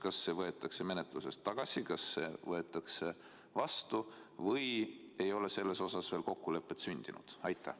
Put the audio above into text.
Kas see võetakse menetlusest tagasi, võetakse vastu või ei ole selles osas veel kokkulepet sündinud?